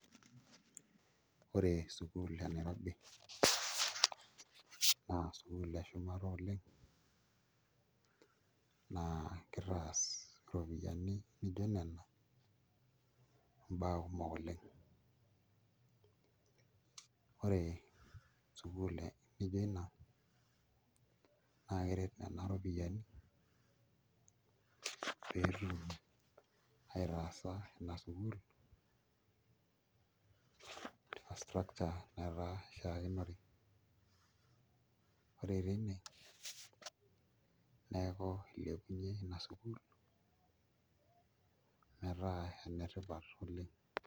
Ore sukuul e Nairobi naa sukuul eshumata oleng' naakitaas iropiyiani nijio nena mbaa kumok oleng' ore sukuul nijio ina naa keret nena ropiyiani pee etum aitaasa ina sukuul infrastructure netaa ishiakinore ore tine neeku ilepunyieki ina sukuul metaa enetipat oleng'.